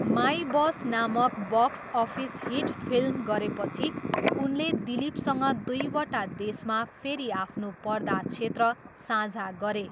My boss नामक box office hit film गरेपछि उनले दिलिपसँग दुईवटा देशमा फेरि आफ्नो पर्दा क्षेत्र साझा गरे।